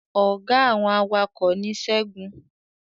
Ọ̀gá àwọn awakọ̀ ni segun